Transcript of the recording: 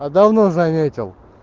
а давно заметил